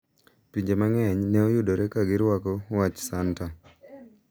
Pinje mang`eny ne oyudore ka girwaklo wach santa